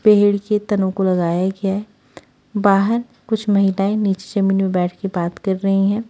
पेड़ के तनों को लगाया गया है बाहर कुछ महिलाएं नीचे जमीन में बैठ के बात कर रही हैं।